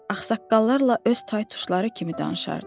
Ağsaqqallarla öz taytuşları kimi danışardı.